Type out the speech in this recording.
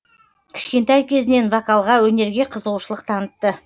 кішкентай кезінен вокалға өнерге қызығушылық танытты